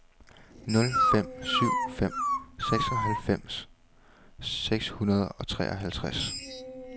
nul fem syv fem seksoghalvfems seks hundrede og treoghalvtreds